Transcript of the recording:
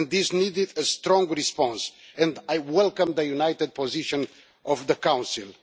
This needed a strong response, and I welcome the united position of the Council.